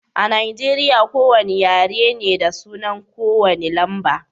A Nijeriya,, ko wane yare na da sunan ko wane lamba.